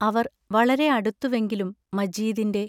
അവർ വളരെ അടുത്തുവെങ്കിലും മജീദിന്റെ